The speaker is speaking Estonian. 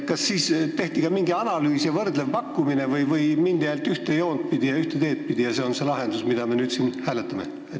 Kas tehti ka mingi analüüs ja võrdlev pakkumine või mindi ainult ühte joont ja teed pidi ning see on see lahendus, mida me nüüd siin hääletame?